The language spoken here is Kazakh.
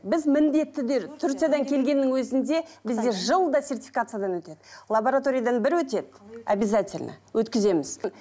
біз міндетті де турциядан келгеннің өзінде бізде жылда сертификациядан өтеді лабораториядан бір өтеді объязательно өткіземіз